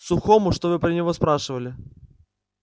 сухому что вы про него спрашивали